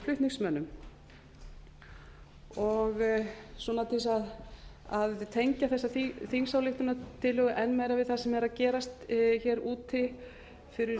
flutningsmönnum og til þess að tengja þessa þingsályktunartillögu enn meira við það sem er að gerast hér úti fyrir